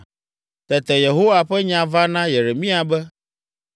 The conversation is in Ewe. Tete Yehowa ƒe nya va na Yeremia be,